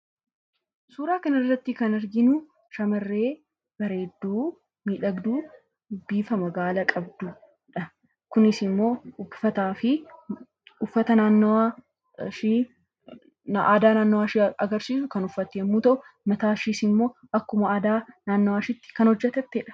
Suuraa kanarratti kan arginu shamarree bareedduu ,miidhagduu bifa magaala qabdudha. Kunis uffata aadaa naannoo ishee agarsiisu kan uffatte yoo ta’u, mataa ishee immoo akkuma aadaa naannoo isheetti kan hojjetattedha.